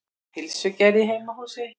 Pylsugerð í heimahúsi.